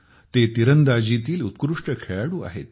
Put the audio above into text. ते तिरंदाजीतील उत्कृष्ट खेळाडू आहेत